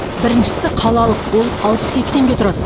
біріншісі қалалық ол алпыс екі теңге тұрады